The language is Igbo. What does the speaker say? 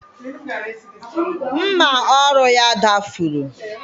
Mma ọrụ ya dafuru.